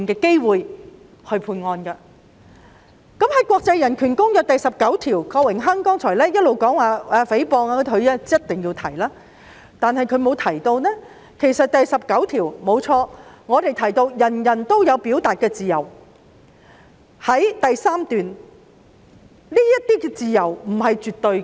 郭榮鏗議員剛才一直提及《公約》第十九條有關誹謗的規定，但他並沒有提到第十九條訂明人人皆享有表達自由之餘，亦表明這些自由不是絕對的。